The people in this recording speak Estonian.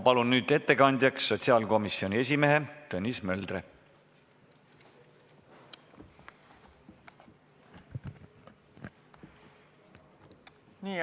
Palun nüüd ettekandjaks sotsiaalkomisjoni esimehe Tõnis Möldri.